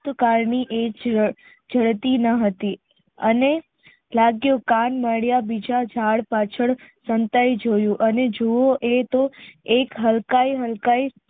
કાળને એજ જળતી ન હતી અને લાગ્યે કાંન નળિયા બીજા ઝાડ પાછળ સંતાય જોયું અને જો એતો એક હલકાઈ હલકાઈ